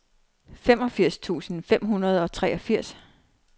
femogfirs tusind fem hundrede og treogfirs